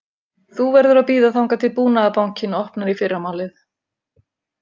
Þú verður að bíða þangað til Búnaðarbankinn opnar í fyrramálið